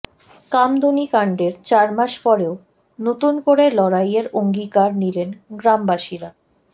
কামদুনি কাণ্ডের চারমাস পরেও নতুন করে লড়াইয়ের অঙ্গীকার নিলেন গ্রামবাসীরা